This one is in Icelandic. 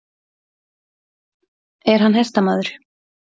Er hann hestamaður?